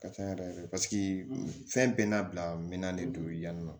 Ka ca yɛrɛ paseke fɛn bɛɛ n'a bila minan de don yani nɔ